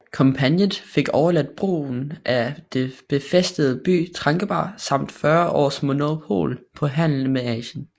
Kompagniet fik overladt brugen af den befæstede by Trankebar samt 40 års monopol på handel med Asien